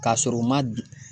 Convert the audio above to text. K'a sɔrɔ u ma